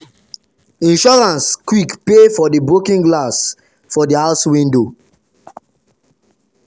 insurance quick pay for the broken glass for the house window.